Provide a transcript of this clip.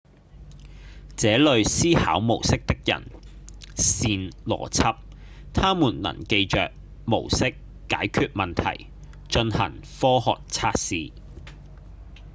這類思考模式的人擅邏輯他們能記住模式、解決問題、進行科學測試